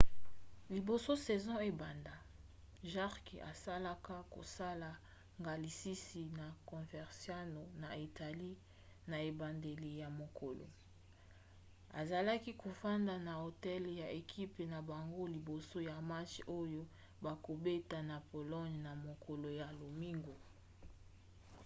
liboso saison ebanda jarque asalaka kosala ngalasisi na coverciano na italie na ebandeli ya mokolo. azalaki kofanda na hotel ya ekipe na bango liboso ya match oyo bakobeta na bologne na mokolo ya lomingo